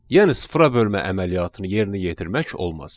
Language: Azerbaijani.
Yəni sıfıra bölmə əməliyyatını yerinə yetirmək olmaz.